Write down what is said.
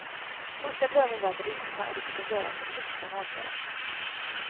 Första drömmen var att resa och det fick hon göra så mycket hon orkade.